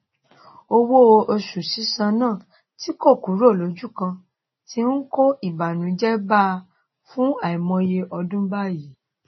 owó oṣù òṣìṣẹ náà tí kò kúrò lójúkan ti n kó ìbànújẹ bá a fún àìmọye ọdún báyìí